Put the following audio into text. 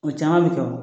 O caman bɛ kɛ o